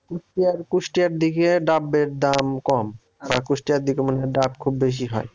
কুষ্টিয়ার কুষ্টিয়ার দিকে ডাবের দাম কম বা কুষ্টিয়ার দিকে মনে করেন ডাব খুব বেশি হয়